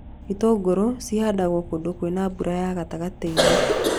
Itũngũrũ cihandagwo kũndũ kwĩna mbura ya gatagatĩ-inĩ